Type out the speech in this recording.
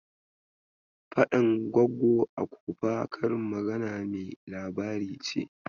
"Faɗan Goggo a kofa " karin magana mai labari ce.